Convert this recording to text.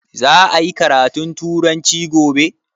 Za a yi karatun turanci gobe?